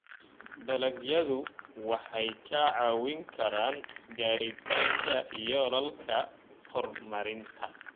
Dalagyadu waxay kaa caawin karaan gaaritaanka yoolalka horumarinta.